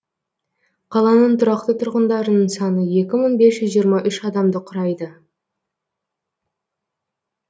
қаланың тұрақты тұрғындарының саны екі мың бес жүз жиырма үш адамды құрайды